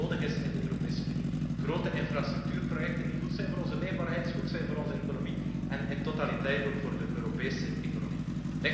Werk dat nodig is in de Europese Unie, grote infrastructuurprojecten die goed zijn voor onze leefbaarheid en goed zijn voor onze economie en in totaliteit ook voor de Europese economie.